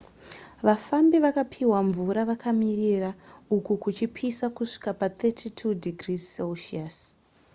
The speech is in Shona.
vafambi vakapihwa mvura vakamirira uku kuchipisa kusvika pa32°c